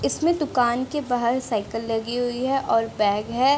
इसमें दुकान के बाहर साइकिल लगी हुई है और बैग है।